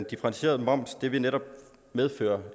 differentieret moms vil netop medføre